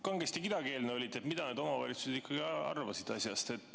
Kangesti kidakeelne olite selle koha pealt, mida need omavalitsused ikkagi arvasid asjast.